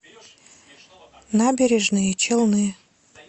набережные челны